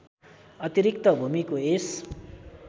अतिरिक्त भूमिको यस